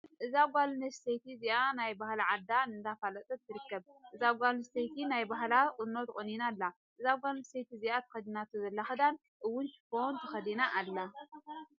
እዛ ጓል ኣነስተይቲ እዚኣ ናይ ባህላ ዓዳ እነዳፋለጠት ትርከብ። እዛ ጓል ኣነስተቲ ናይ ባህላ ቁኖ ተቆኒና ኣላ። እዛ ጓል ኣነስተይቲ እዚ ኣተከዲናቶ ዘላ ክዳን እውን ሽፈን ተከዳኒና ኣላ።